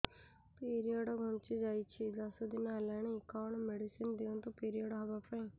period ଘୁଞ୍ଚି ଯାଇଛି ଦଶ ଦିନ ହେଲାଣି କଅଣ ମେଡିସିନ ଦିଅନ୍ତୁ ପିରିଅଡ଼ ହଵା ପାଈଁ